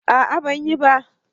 a'a ban yi ba